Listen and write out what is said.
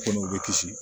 Komi u bɛ kisi